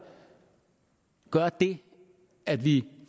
gøre det at vi